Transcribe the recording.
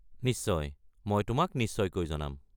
নিশ্চয়, মই তোমাক নিশ্চয়কৈ জনাম।